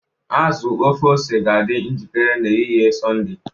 azu ofe ose ga-adị njikere n'ehihie Sọnde